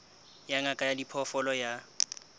ya ngaka ya diphoofolo ya